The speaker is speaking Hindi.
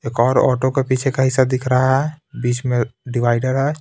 एक और ऑटो के पीछे का हिस्सा दिख रहा है बीच में डिवाइडर है.